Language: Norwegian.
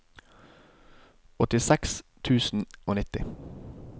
åttiseks tusen og nitti